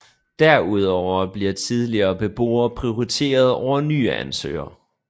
Derudover bliver tidligere beboere prioriteret over nye ansøgere